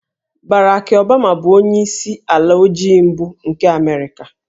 Barack Obama bụ onyeisi ala ojii mbụ nke Amerịka